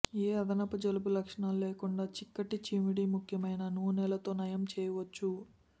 ఏ అదనపు జలుబు లక్షణాలు లేకుండా చిక్కటి చీమిడి ముఖ్యమైన నూనెలు తో నయం చేయవచ్చు